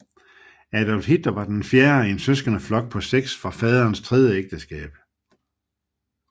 Adolf Hitler var den fjerde i en søskendeflok på seks fra faderens tredje ægteskab